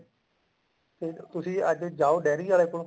ਹੁਣ ਤੁਸੀਂ ਅੱਜ ਜਾਓ ਡਾਇਰੀ ਆਲੇ ਕੋਲ